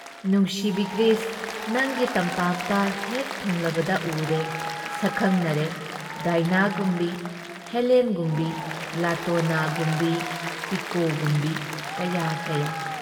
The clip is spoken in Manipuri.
ꯅꯨꯡꯁꯤꯕꯤ ꯒ꯭ꯔꯤꯁ, ꯅꯪꯒꯤ ꯇꯝꯄꯥꯛꯇ ꯍꯦꯛ ꯊꯨꯡꯂꯕꯗ ꯎꯔꯦ ꯁꯛꯈꯪꯅꯔꯦ ꯗꯥꯏꯅꯥꯒꯨꯝꯕꯤ ꯍꯦꯂꯦꯟꯒꯨꯝꯕꯤ ꯂꯥꯇꯣꯅꯥꯒꯨꯝꯕꯤ ꯄꯤꯀꯣꯒꯨꯝꯕꯤ ꯀꯌꯥ ꯀꯌꯥ ꯫